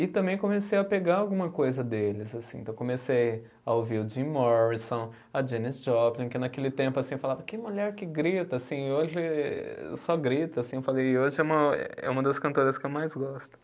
E também comecei a pegar alguma coisa deles, assim, então comecei a ouvir o Jim Morrison, a Janis Joplin, que naquele tempo, assim, eu falava, que mulher que grita, assim, hoje só grita, assim, eu falei, e hoje é uma, é uma das cantoras que eu mais gosto.